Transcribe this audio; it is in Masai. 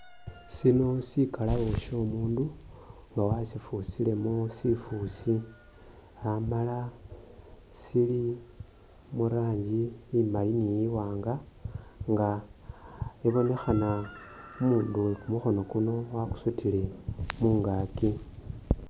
Sino sikalabo syomundu nga wasifusilemo sifusi amala sili mu rangi imali ni i wanga nga ibonekhana nga umundu uwe kumukhono kuno wakusutile mungaki.